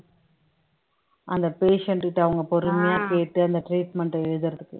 அந்த patient கிட்ட அவங்க பொறுமையா கேட்டு அந்த treatment அ எழுதுறதுக்கு